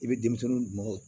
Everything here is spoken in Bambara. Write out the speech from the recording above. I bɛ denmisɛnnin dun maaw